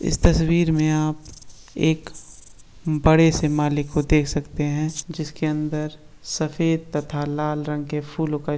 इस तस्वीर में आप एक बड़े से माले को देख सकते है जिसके अंदर सफ़ेद तथा लाल रंग के फूलो का --